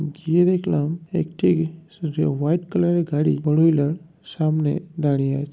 গিয়ে দেখলাম একটি সুযো--হোয়াইট কালার -এর গাড়ি ফোর হুইলার সামনে দাঁড়িয়ে আছ্ --